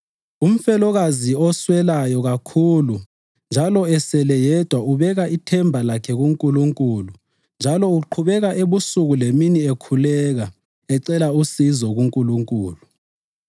Umfelokazi oswelayo kakhulu njalo esele eyedwa ubeka ithemba lakhe kuNkulunkulu njalo uqhubeka ebusuku lemini ekhuleka ecela usizo kuNkulunkulu.